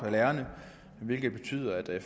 af lærerne hvilket betyder at